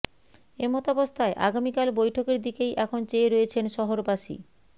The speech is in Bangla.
এমতাবস্থায় আগামিকাল বৈঠকের দিকেই এখন চেয়ে রয়েছেন শহরবাসী